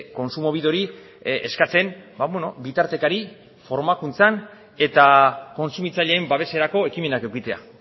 kontsumobideri eskatzen bitartekari formakuntzan eta kontsumitzaileen babeserako ekimenak edukitzea